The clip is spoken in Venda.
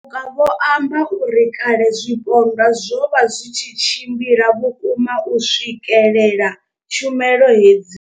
Matuka vho amba uri kale zwipondwa zwo vha zwi tshi tshimbila vhukuma u swikelela tshumelo hedzi.